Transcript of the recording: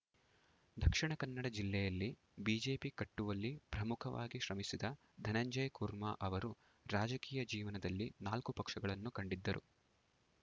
ದಕ್ಷಿಣ ಕನ್ನಡ ಜಿಲ್ಲೆಯಲ್ಲಿ ಬಿಜೆಪಿ ಕಟ್ಟುವಲ್ಲಿ ಪ್ರಮುಖವಾಗಿ ಶ್ರಮಿಸಿದ ಧನಂಜಯ ಕುರ್ಮ ಅವರು ರಾಜಕೀಯ ಜೀವನದಲ್ಲಿ ನಾಲ್ಕು ಪಕ್ಷಗಳನ್ನು ಕಂಡಿದ್ದರು